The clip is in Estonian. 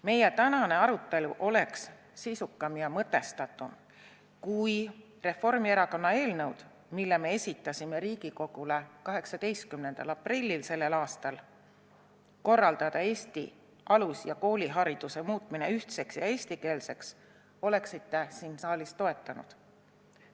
Meie tänane arutelu oleks sisukam ja mõtestatum, kui te oleksite Reformierakonna eelnõu – muuta Eesti alus- ja kooliharidus ühtseks ja eestikeelseks –, mille me esitasime Riigikogule selle aasta 18. aprillil, siin saalis toetanud.